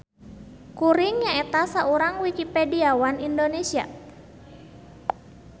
Kuring nyaeta saurang Wikipediawan Indonesia.